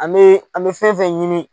An bɛ an bɛ fɛn fɛn ɲini.